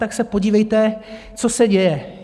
Tak se podívejte, co se děje.